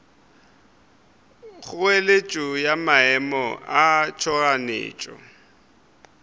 kgoeletšo ya maemo a tšhoganetšo